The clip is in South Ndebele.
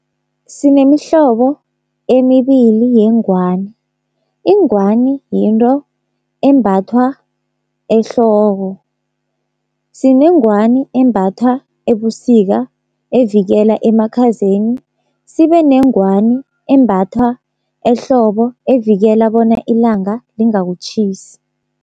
Sinemihlobo emibili yengwani. Ingwani yinto embathwa ehloko. Sinengwani embathwa ebusika evikela emakhazeni, sibe nengwani embathwa ehlobo evikela bona ilanga lingakutjhisi.